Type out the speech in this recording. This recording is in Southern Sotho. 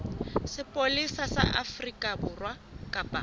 sepolesa sa afrika borwa kapa